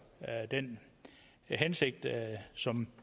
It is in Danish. den hensigt som